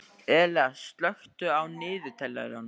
Elea, slökktu á niðurteljaranum.